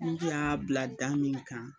Ni n tun y'a bila da min kan